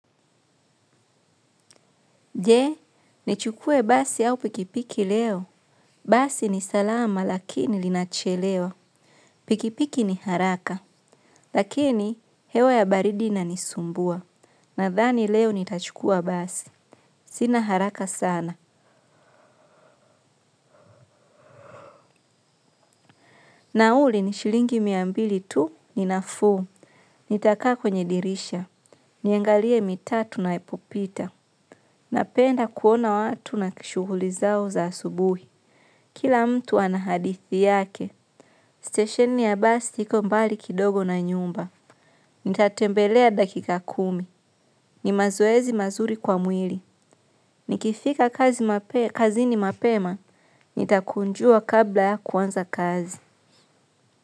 Je, nichukue basi au pikipiki leo. Basi ni salama lakini linachelewa. Pikipiki ni haraka. Lakini, hewa ya baridi nanisumbua. Na thani leo nitachukua basi. Sina haraka sana. Na uli nishilingi miambili tu ninafuu, nitakaa kwenye dirisha, niengalie mitaa tunaepopita, napenda kuona watu na kishuhulizao za asubuhi. Kila mtu anahadithi yake, stesheni ya basi ikombali kidogo na nyumba, nitatembelea dakika kumi, ni mazoezi mazuri kwa mwili, nikifika kazi ni mapema, nitakunjua kabla ya kuanza kazi.